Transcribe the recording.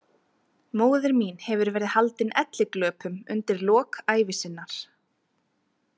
Móðir mín hefur verið haldin elliglöpum undir lok ævi sinnar.